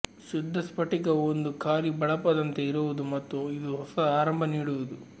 ಶುದ್ಧ ಸ್ಪಟಿಕವು ಒಂದು ಖಾಲಿ ಬಳಪದಂತೆ ಇರುವುದು ಮತ್ತು ಇದು ಹೊಸ ಆರಂಭ ನೀಡುವುದು